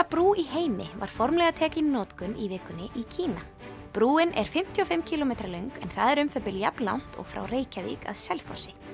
brú í heimi var formlega tekin í notkun í vikunni í Kína brúin er fimmtíu og fimm kílómetra löng en það er um það bil jafnlangt og frá Reykjavík að Selfossi